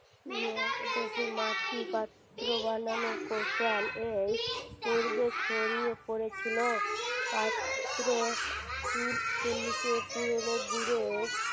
মাটি পাত্র বানানোর কৌশল এর পূর্বে ছড়িয়ে পড়েছিল পাত্র পুরোনো